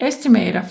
Estimater